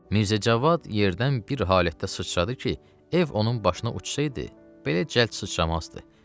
Mirzə Cavad yerdən bir halətdə sıçradı ki, ev onun başına uçsaydı, belə cəld sıçramazdı.